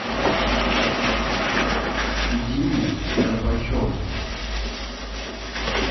диме горбачеву